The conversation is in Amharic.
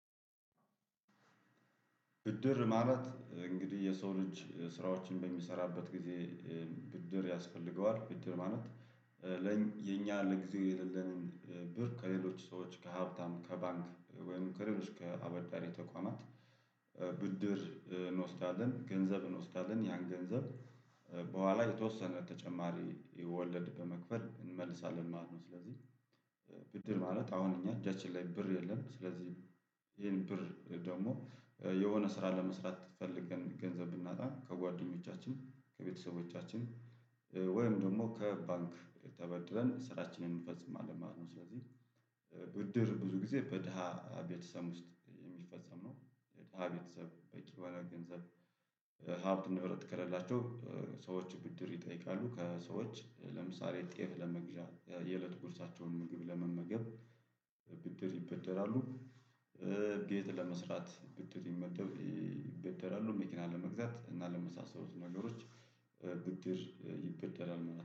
ብድር ማለት እንግዲህ የሰው ልጅ ስራዎችን በሚሰራበት ጊዜ ብድር ያስፈልገዋል ብድር ማለት። የኛ ለጊዜ የሌለንን ብር ከሌሎች ሰዎች ከሀብታም ከባንክ ወይም ከሌሎች ከአበዳሪ ተቋማት። ብድር እንወስዳለን ገንዘብ እንወስዳለን ያን ገንዘብ በኋላ የተወሰነ ተጨማሪ ወለድ በመክፈል እንመልሳለን ማለት ነው። ስለዚህ ብድር ማለት አሁን እኛ እጃችን ላይ ብር የለም። ስለዚህ ይሄን ብር ደግሞ የሆነ ስራ ለመስራት ፈልገን ገንዘብ ብናጣ ከጓደኞቻችን ከቤተሰቦቻችን ወይም ደግሞ ከባንክ ተበድረን ስራችንን እንፈጽማለን ማለት ነው። ስለዚህ ብድር ብዙ ጊዜ በድሃ ቤተሰብ ውስጥ የሚፈጸም ነው። ድሃ ቤተሰብ በቂ የሆነ ገንዘብ ሀብት ንብረት ከሌላቸው ሰዎች ብድር ይጠይቃሉ። ከሰዎች ለምሳሌ ጤፍ ለመግዣ የእለት ቁርሳቸውን ምግብ ለመመገብ ብድር ይበደራሉ። ቤት ለመስራት ብድር ይበደራሉ። መኪና ለመግዛት እና ለመሳሰሉት ነገሮች ብድር ይበደራሉ